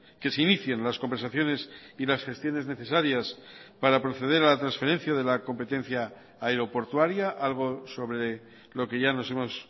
que se inicien las conversaciones y las gestiones necesarias para proceder a la transferencia de la competencia aeroportuaria algo sobre lo que ya nos hemos